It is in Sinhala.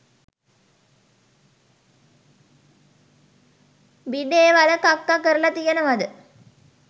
බිඩේ වල කක්ක කරල තියෙනවද.